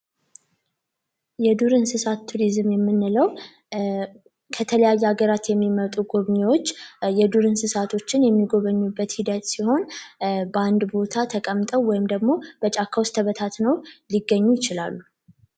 የዱር እንስሳት ቱሪዝም የምንለው ከተለያየ ሀገራት የሚመጡ ጉብኚዎች የዱር እንስሳቶችን የሚጐበኙበት ሂደት ሲሆን በአንድ ቦታ ተቀምጠው ወይም ደግሞ በጫካዎች ተበታትነው ሊገኙ ይችላሉ።